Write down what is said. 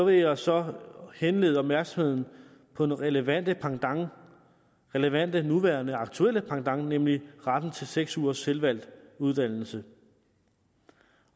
jeg så henlede opmærksomheden på den relevante pendant relevante nuværende aktuelle pendant nemlig retten til seks ugers selvvalgt uddannelse